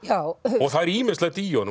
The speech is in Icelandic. og það er ýmislegt í honum